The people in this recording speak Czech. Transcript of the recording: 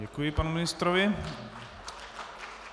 Děkuji panu ministrovi.